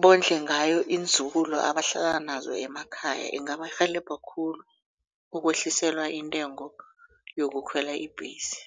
bondle ngayo iinzukulu abahlala nazo emakhaya ingabarhelebha khulu ukwehliselwa intengo yokukhwela ibhesi.